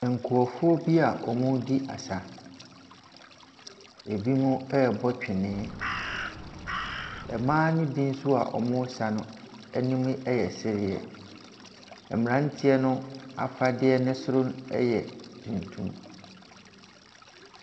Nkurɔfoɔ bi a wɔredi asa. Binom rebɔ twene. Mmaa no bi nso a wɔresa no anim yɛ sereɛ. Mmeranteɛ no afadeɛ no soro yɛ tuntum.